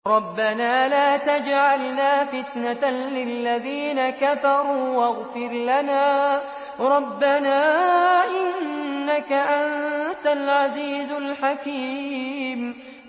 رَبَّنَا لَا تَجْعَلْنَا فِتْنَةً لِّلَّذِينَ كَفَرُوا وَاغْفِرْ لَنَا رَبَّنَا ۖ إِنَّكَ أَنتَ الْعَزِيزُ الْحَكِيمُ